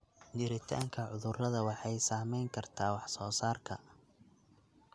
Jiritaanka cudurrada waxay saameyn kartaa wax soo saarka.